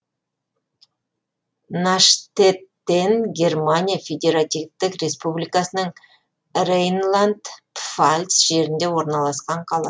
наштеттен германия федеративтік республикасының рейнланд пфальц жерінде орналасқан қала